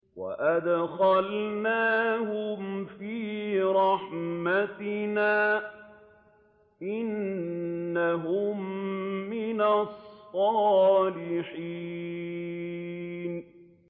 وَأَدْخَلْنَاهُمْ فِي رَحْمَتِنَا ۖ إِنَّهُم مِّنَ الصَّالِحِينَ